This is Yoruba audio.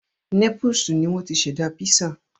Népúsù ni wọ́n ti ṣẹ̀dá písà